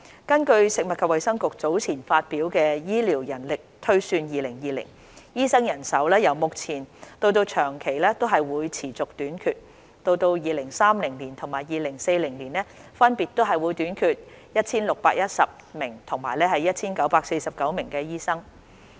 根據食物及衞生局早前發表的《醫療人力推算2020》，醫生人手由目前到長期均會持續短缺。到2030年及2040年，分別會短缺 1,610 名和 1,949 名醫生。